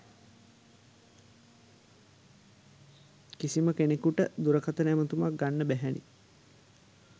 කිසිම කෙනෙකුට දුරකථන ඇමතුමක්‌ගන්න බැහැනේ